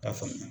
K'a faamuya